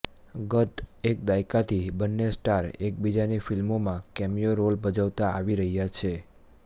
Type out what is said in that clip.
ગત એક દાયકાથી બંને સ્ટાર એકબીજાની ફિલ્મોમાં કેમિયો રોલ ભજવતા આવી રહ્યા છે